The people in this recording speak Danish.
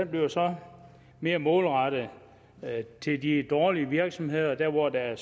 bliver så mere målrettet de dårlige virksomheder hvor der er